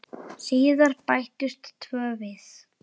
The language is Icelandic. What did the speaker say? Síðar bættust tvö við.